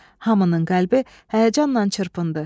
Hamının qəlbi həyəcanla çırpındı.